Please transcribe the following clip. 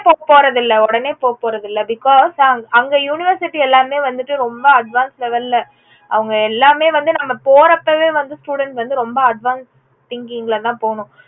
உடனே போவ போறதில்ல உடனே போவ போறதில்ல because ஆஹ் அங்க university எல்லாமே வந்துட்டு ரொம்ப advancelevel ல அவுங்க எல்லாமே வந்துட்டு நம்ம போறப்போவே வந்து students ரொம்ப advancethinking ல தா போகணும்